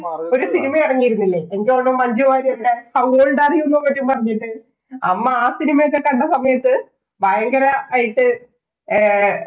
ഒരു cinema എറങ്ങിയുരുന്നില്ലേ. എനിക്ക് മഞ്ജു വാര്യരുടെ how old are you എന്നൊക്കെ പറഞ്ഞിട്ട്. അമ്മ ആ cinema ഒക്കെ കണ്ട സമയത്ത് ഭയങ്കരായിട്ട് ഏർ